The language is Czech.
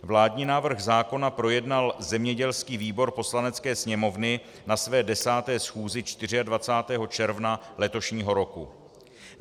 Vládní návrh zákona projednal zemědělský výbor Poslanecké sněmovny na své desáté schůzi 24. června letošního roku.